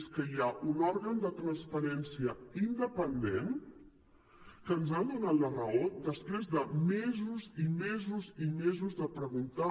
és que hi ha un òrgan de transparència independent que ens ha donat la raó després de mesos i mesos i mesos de preguntar